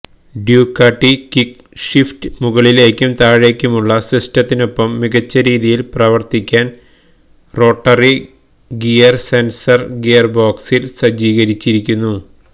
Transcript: Ducati quick shift മുകളിലേക്കും താഴേക്കുമുള്ള സിസ്റ്റത്തിനൊപ്പം മികച്ച രീതിയിൽ പ്രവർത്തിക്കാൻ റോട്ടറി ഗിയർ സെൻസർ ഗിയർബോക്സിൽ സജ്ജീകരിച്ചിരിക്കുന്നു